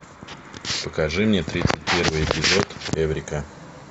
покажи мне тридцать первый эпизод эврика